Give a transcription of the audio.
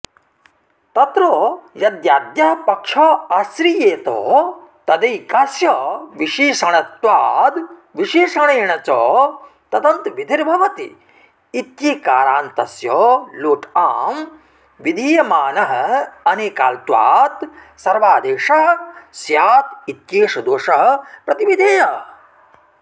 तत्र यद्याद्यः पक्ष आश्रीयेत तदैकास्य विशएषणत्वाद्विशेषणेन च तदन्तविधिर्भवतीत्येकारान्तस्य लोट आम् विधीयमानोऽनेकाल्त्वात् सर्वादेशः स्यादित्येष दोषः प्रतिविधेयः